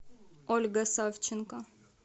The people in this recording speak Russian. ольга савченко